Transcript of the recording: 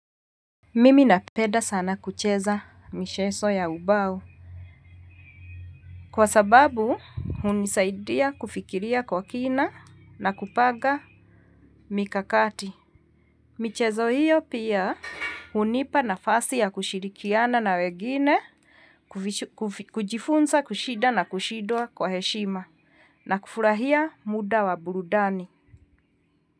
Mimi napenda sana kucheza michezo ya ubao. Kwa sababu, hunisaidia kufikiria kwa kina na kupaga mikakati. Michezo hiyo pia hunipa nafasi ya kushirikiana na wegine kujifunza kushinda na kushindwa kwa heshima na kufurahia muda wa burudani.